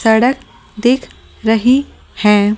सड़क दिख रही है ।